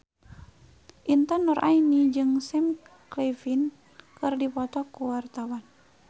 Intan Nuraini jeung Sam Claflin keur dipoto ku wartawan